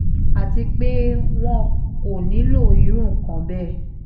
àti pé wọn kò nílò irú nǹkan bẹ́ẹ̀